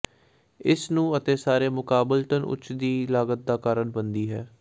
ਇਸ ਨੂੰ ਅਤੇ ਸਾਰੇ ਮੁਕਾਬਲਤਨ ਉੱਚ ਦੀ ਲਾਗਤ ਦਾ ਕਾਰਨ ਬਣਦੀ ਹੈ